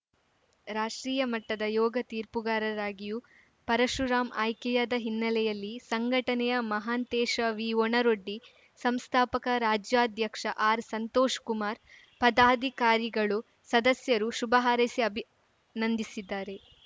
ರಾಷ್ಟ್ರೀಯ ಮಟ್ಟದ ಯೋಗ ತೀರ್ಪುಗಾರರಾಗಿಯೂ ಪರಶುರಾಂ ಆಯ್ಕೆಯಾದ ಹಿನ್ನೆಲೆಯಲ್ಲಿ ಸಂಘಟನೆಯ ಮಹಾಂತೇಶ ವಿಒಣರೊಡ್ಡಿ ಸಂಸ್ಥಾಪಕ ರಾಜ್ಯಾಧ್ಯಕ್ಷ ಆರ್‌ಸಂತೋಷ್ ಕುಮಾರ್ ಪದಾಧಿಕಾರಿಗಳು ಸದಸ್ಯರು ಶುಭಾ ಹಾರೈಸಿ ಅಭಿನಂದಿಸಿದ್ದಾರೆ